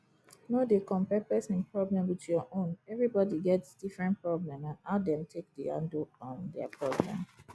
no dey compare person problem with your own everybody get different problem and how dem take dey handle um their problem